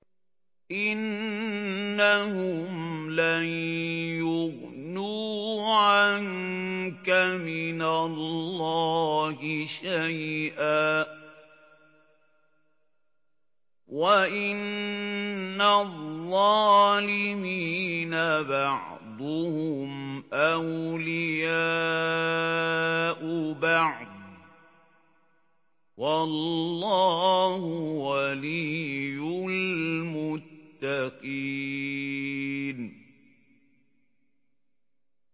إِنَّهُمْ لَن يُغْنُوا عَنكَ مِنَ اللَّهِ شَيْئًا ۚ وَإِنَّ الظَّالِمِينَ بَعْضُهُمْ أَوْلِيَاءُ بَعْضٍ ۖ وَاللَّهُ وَلِيُّ الْمُتَّقِينَ